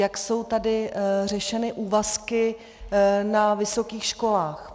Jak jsou tady řešeny úvazky na vysokých školách?